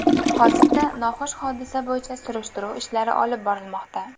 Hozirda noxush hodisa bo‘yicha surishtiruv ishlari olib borilmoqda.